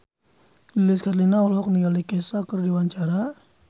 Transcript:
Lilis Karlina olohok ningali Kesha keur diwawancara